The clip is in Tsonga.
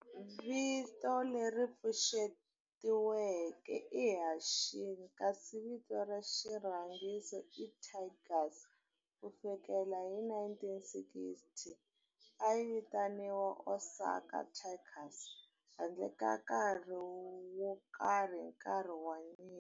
Vito leri pfuxetiweke i"Hanshin" kasi vito ra xirhangiso i"Tigers". Ku fikela hi 1960, a yi vitaniwa Osaka Tigers handle ka nkarhi wo karhi hi nkarhi wa nyimpi.